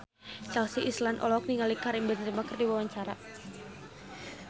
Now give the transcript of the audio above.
Chelsea Islan olohok ningali Karim Benzema keur diwawancara